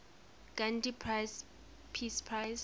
gandhi peace prize